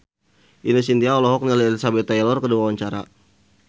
Ine Shintya olohok ningali Elizabeth Taylor keur diwawancara